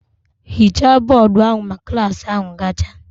Ghichaa bọọdụ ahụ ma klas ahụ gacha!